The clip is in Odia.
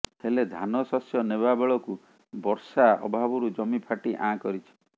ହେଲେ ଧାନ ଶସ୍ୟ ନେବାବେଳକୁ ବର୍ଷା ଅଭାବରୁ ଜମି ଫାଟି ଆଁ କରିଛି